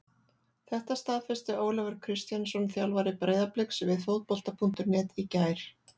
Þetta staðfesti Ólafur Kristjánsson þjálfari Breiðabliks við Fótbolta.net í gær.